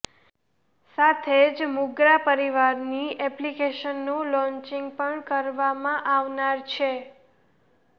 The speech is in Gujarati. સાથે જ મુંગરા પરિવારની એપ્લીકેશનનું લોન્ચીંગ પણ કરવામાં આવનાર છે